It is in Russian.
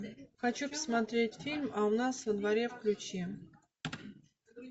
хочу посмотреть фильм а у нас во дворе включи